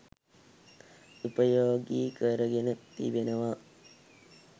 උපයෝගී කරගෙන තිබෙනවා.